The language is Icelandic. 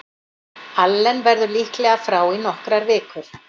Allen verður líklega frá í nokkrar vikur.